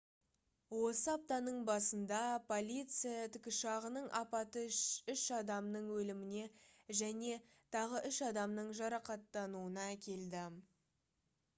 осы аптаның басында полиция тікұшағының апаты үш адамның өліміне және тағы үш адамның жарақаттануына әкелді